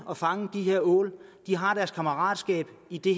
og fange ål de har deres kammeratskab i det